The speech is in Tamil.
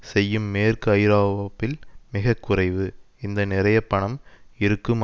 செய்யும் மேற்கு ஐரோப்யில் மிக குறைவு இந்த நிறைய பணம் இருக்கும்